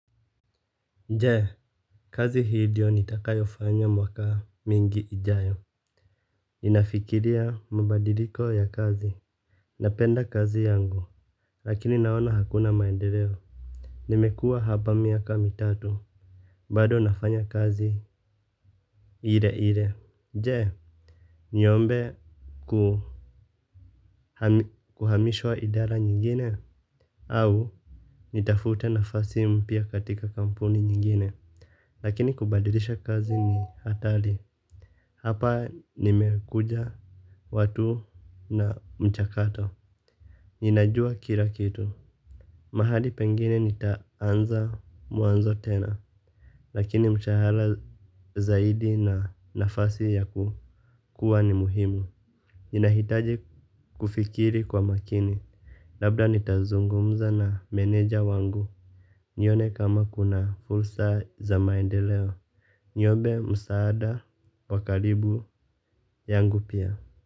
Je, kazi hii ndio nitakayofanya mwaka mingi ijayo? Ninafikiria mabadiliko ya kazi. Napenda kazi yangu. Lakini naona hakuna maendeleo. Nimekua hapa miaka mitatu. Bado nafanya kazi ile ile. Je, niombe kuhamishwa idara nyingine au nitafute nafasi mpya katika kampuni nyingine. Lakini kubadilisha kazi ni hatari. Hapa nimekuja watu na mchakato. Ninajua kila kitu. Mahali pengine nitaanza mwanzo tena. Lakini mshahara zaidi na nafasi ya kukua ni muhimu. Ninahitaji kufikiri kwa makini. Labda nitazungumza na meneja wangu. Nione kama kuna fursa za maendeleo. Niombe msaada wa karibu yangu pia.